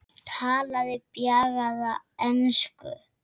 Talaði bjagaða ensku